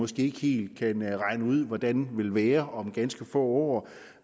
sted ikke helt kan regne ud hvordan vil være om ganske få år